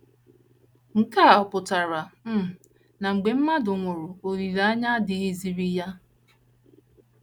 Nke a ọ̀ pụtara um na mgbe mmadụ nwụrụ olileanya adịghịziri ya?